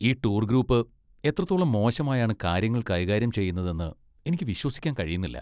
ഈ tour group എത്രത്തോളം മോശമായാണ് കാര്യങ്ങൾ കൈകാര്യം ചെയ്യുന്നതെന്ന് എനിക്ക് വിശ്വസിക്കാൻ കഴിയുന്നില്ല.